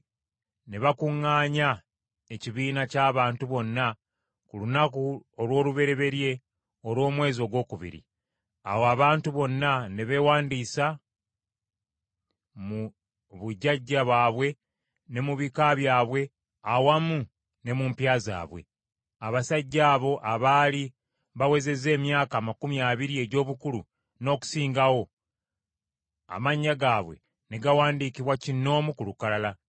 ne bakuŋŋaanya ekibiina ky’abantu bonna ku lunaku olw’olubereberye olw’omu mwezi ogwokubiri. Awo abantu bonna ne beewandiisa mu bujjajja bwabwe ne mu bika byabwe awamu ne mu mpya zaabwe. Abasajja abo abaali bawezezza emyaka amakumi abiri egy’obukulu n’okusingawo, amannya gaabwe ne gawandiikibwa kinnoomu ku lukalala,